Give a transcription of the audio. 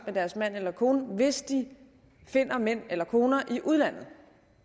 med deres mand eller kone hvis de finder en mand eller en kone i udlandet